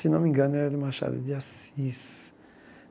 Se não me engano, era de Machado de Assis.